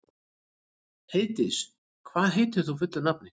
Heiðdís, hvað heitir þú fullu nafni?